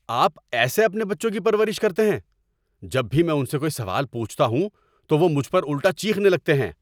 آپ ایسے اپنے بچوں کی پرورش کرتے ہیں؟ جب بھی میں ان سے کوئی سوال پوچھتا ہوں تو وہ مجھ پر الٹا چیخنے لگتے ہیں۔